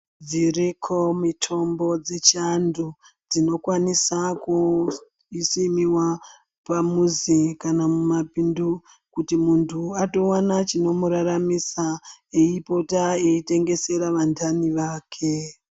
Dziriko mitombo dzechando dzinokwanisa kusimiwa pamuuzi kana mumapindu kuti mundu atowana chinomuraramisa eipota eitengesera vahani vakwe.